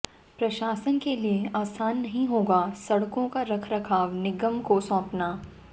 प्रशासन के लिए आसान नहीं होगा सड़कों का रख रखाव निगम को सौंपना